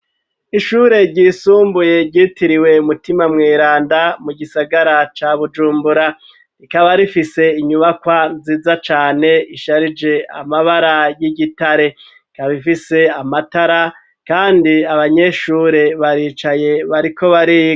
Ishure ryisumbuye ryitiriwe mutima mweranda mu gisagara ca Bujumbura rikaba rifise inyubakwa nziza cane isharije amabara y'igitare ikaba ifise amatara kandi abanyeshure baricaye bariko bariga.